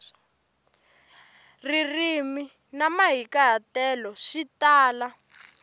ririmi na mahikahatelo swi tala